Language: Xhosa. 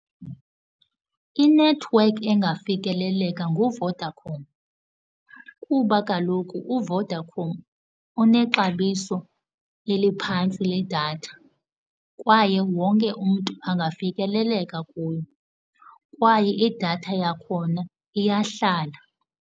Inethiwekhi engafikeleleka nguVodacom kuba kaloku uVodacom unexabiso eliphantsi ledatha kwaye wonke umntu angafikeleleka kuyo, kwaye idatha yakhona iyahlala.